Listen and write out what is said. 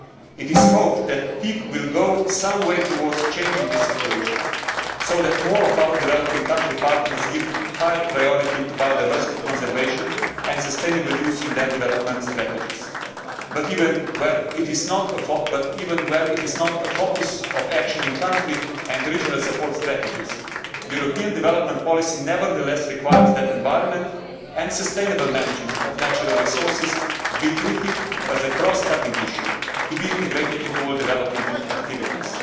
It is hoped that TEEB will go some way towards changing this situation so that more of our developing country partners give higher priority to biodiversity conservation and sustainable use in their development strategies but, even where it is not a focus of action in country and regional support strategies, European development policy nevertheless requires that environment and sustainable management of natural resources be treated as a cross cutting issue to be integrated into all development activities.